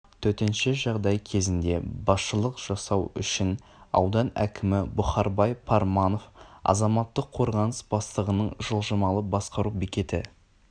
төтенше жағдай кезінде басшылық жасау үшін аудан әкімі бұхарбай парманов азаматтық қорғаныс бастығының жылжымалы басқару бекеті